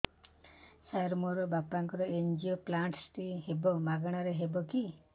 ସାର ମୋର ବାପାଙ୍କର ଏନଜିଓପ୍ଳାସଟି ହେବ ମାଗଣା ରେ ହେବ କି